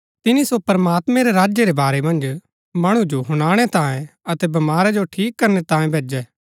तिनी सो प्रमात्मैं रै राज्य रै बारै मन्ज मणु जो हुनाणै तांयें अतै बमारा जो ठीक करणै तांयें भैजै